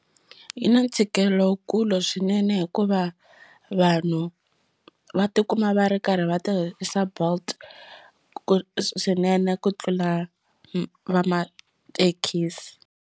Yi na ntshikelelo wukulu swinene hikuva vanhu va tikuma va ri karhi va tirhisa bolt swinene ku tlula va mathekisi.